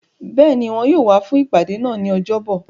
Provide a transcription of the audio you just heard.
Béèni, Wọn yóò wá fún ìpàdé náà ní ọjọ́ bọ̀.